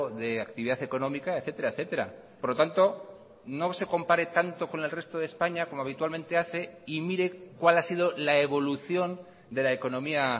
de actividad económica etcétera etcétera por lo tanto no se compare tanto con el resto de españa como habitualmente hace y mire cuál ha sido la evolución de la economía